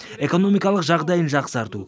экономикалық жағдайын жақсарту